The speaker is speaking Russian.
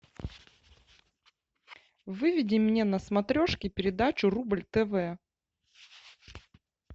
выведи мне на смотрешке передачу рубль тв